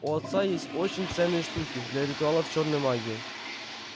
у отца есть очень ценные штуки для ритуалов чёрной магии